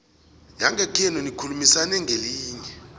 yangekhenu nikhulumisane ngelinye